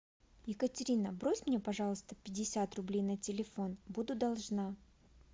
екатерина брось мне пожалуйста пятьдесят рублей на телефон буду должна